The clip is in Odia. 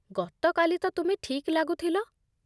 ଗତକାଲି ତ ତୁମେ ଠିକ୍ ଲାଗୁଥିଲ।